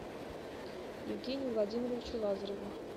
евгению владимировичу лазареву